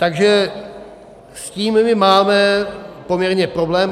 Takže s tím my máme poměrně problém.